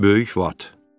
Böyük vat.